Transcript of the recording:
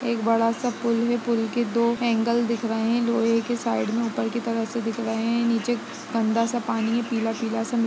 एक बड़ा सा पुल है। पुल के दो एंगल दिख रहा है लोहे के साइड से ऊपर के तरफ दिख रहे हैं निचे गन्दा सा पानी है पिला-पिला सा --